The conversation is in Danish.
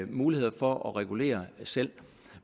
muligheder for at regulere selv